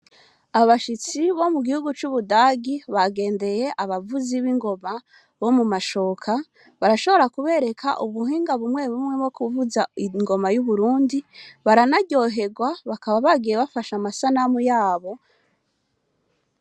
Abashitsi bo mu gihugu c'Ubudagi bagendeye abavuzi b'ingoma bo mu mashoka, barashobora kubereka ubuhinga bumwe bumwe bwo kuvuza ingoma y'Uburundi, baranaryohegwa bakaba bagiye bafashe amasanamu yabo.